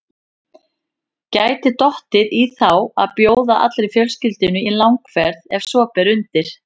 Gæti dottið í þá að bjóða allri fjölskyldunni í langferð ef svo ber undir.